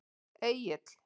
Egill